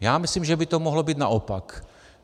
Já myslím, že by to mohlo být naopak.